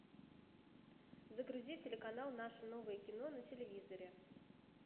загрузи телеканал наше новое кино на телевизоре